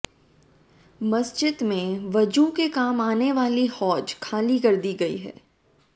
मस्जिद में वजू के काम आनी वाली हौज खाली कर दी गई है